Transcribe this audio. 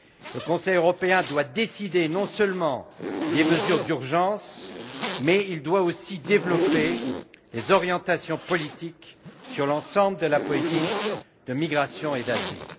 Le Conseil européen doit décider non seulement des mesures d'urgence, mais il doit aussi élaborer des orientations politiques sur l'ensemble de la politique de migration et d'asile.